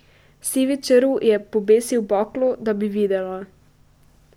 Sivi črv je pobesil baklo, da bi videla.